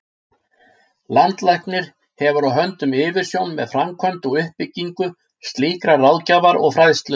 Landlæknir hefur á höndum yfirumsjón með framkvæmd og uppbyggingu slíkrar ráðgjafar og fræðslu.